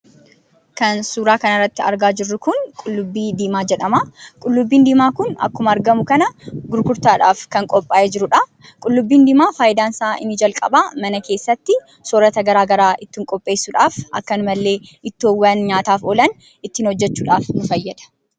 Kan suuraa kana irratti argaa jirru kun qullubbii diimaa jedhama. Qullubbii diimaa kun akkuma argamu kana gurgurtaadhaaf kan qophaa'ee jiruudha. Qullubbii diimaan faayidaan isaa inni jalqabaa mana keessatti soorata garaa garaa ittiin qopheessuudhaaf, akkasuma illee ittoowwan nyaataaf oolan ittiin hojjechuudhaaf nu fayyada.